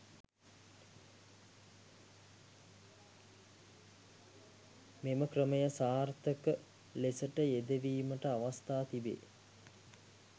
මෙම ක්‍රමය සාර්ථක ලෙසට යෙදවීමට අවස්ථා තිබේ.